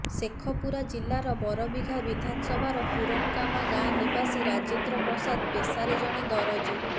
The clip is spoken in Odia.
ଶେଖପୁରା ଜିଲ୍ଲାର ବରବିଘା ବିଧାନସଭାର ପୁରନକାମା ଗାଁ ନିବାସୀ ରାଜେନ୍ଦ୍ର ପ୍ରସାଦ ପେଶାରେ ଜଣେ ଦରଜି